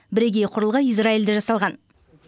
бірегей құрылғы израильде жасалған